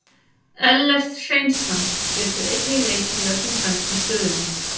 Ellert Hreinsson getur einnig leikið í öllum fremstu stöðunum.